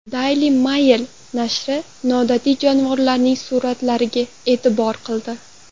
Daily Mail nashri noodatiy jonivorning suratlariga e’tibor qildi .